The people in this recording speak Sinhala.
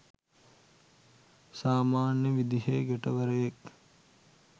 සාමන්‍ය විදිහේ ගැටවරයෙක්.